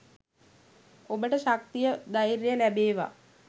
ඔබට ශක්තිය ධෛර්යය ලැබේවා.